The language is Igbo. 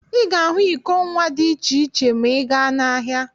Ị ga ahụ iko nwa dị iche iche ma ị gaa n'ahịa.